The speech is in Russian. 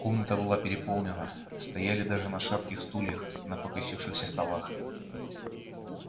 комната была переполнена стояли даже на шатких стульях на покосившихся столах